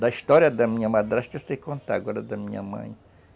Da história da minha madrasta eu sei contar, agora da minha mãe...